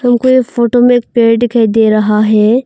हमको एक फोटो में पेड़ दिखाई दे रहा है।